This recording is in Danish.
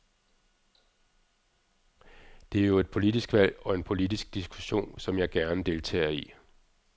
Det er jo et politisk valg og en politisk diskussion, som jeg gerne deltager i.